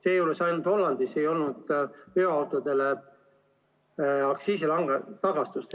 Seejuures ainult Hollandis ei olnud veoautode puhul aktsiisitagastust.